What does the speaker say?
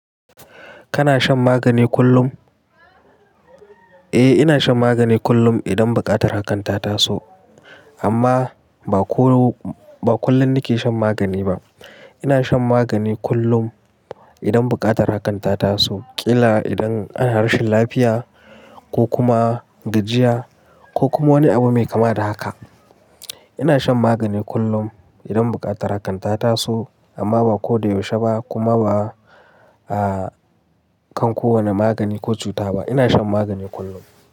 Kana shan magani kullum? Eh, ina shan magani kullum idan buƙatar hakan ta taso. Amma ba ko, ba kullum nake shan magani ba. Ina shan magani kullum idan buƙatar hakan ta taso. Ƙila idan ana rashin lafiya ko kuma gajiya ko kuma wani abu mai kama da haka. Ina shan magani kullum idan buƙatar hakan ta taso. Amma ba ko da yaushe ba kuma ba, ah, kan kowane magani ko cuta ba. Ina shan magani kullum.